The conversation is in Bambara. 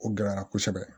O gɛlɛya la kosɛbɛ